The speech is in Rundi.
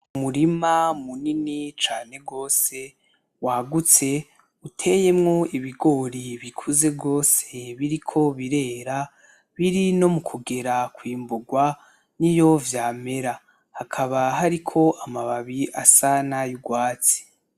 Umurima munini cane gose wagutse uteyemwo ibigori bikuze gose biriko birera biri no mu kugera kwimburwa niyo vyamera, hakaba hariko amababi asa nay'urwatsi.